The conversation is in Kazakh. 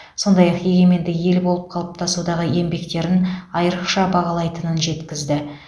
сондай ақ егеменді ел болып қалыптасудағы еңбектерін айрықша бағалайтынын жеткізді